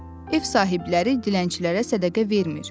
Ev sahibləri dilənçilərə sədəqə vermir.